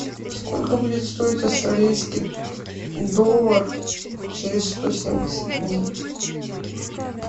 сколько будет стоить австралийский доллар через сто семьдесят дней